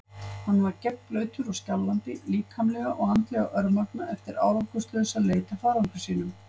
Hann var gegnblautur og skjálfandi, líkamlega og andlega örmagna eftir árangurslausa leit að farangri sínum.